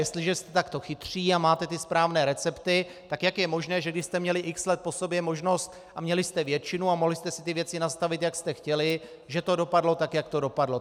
Jestliže jste takto chytří a máte ty správné recepty, tak jak je možné, že když jste měli x let po sobě možnost a měli jste většinu a mohli jste si ty věci nastavit, jak jste chtěli, že to dopadlo tak, jak to dopadlo.